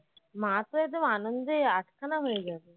মা তো একদম আনন্দে আটখানা হয়ে গেছে